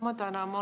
Ma tänan!